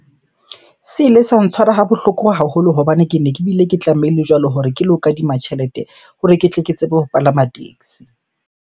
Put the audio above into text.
Se ile sa ntshwara ha bohloko haholo hobane kene ke bile ke tlamehile jwalo hore ke lo kadima tjhelete hore ke tle ke tsebe ho palama taxi.